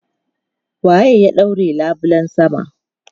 Wa ya ɗaure labulen sama?